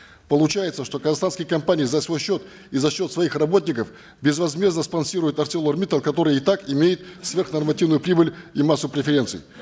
получается что казахстанские компании за свой счет и за счет своих работников безвозмездно спонсируют арселор миттал который и так имеет сверхнормативную прибыль и массу преференций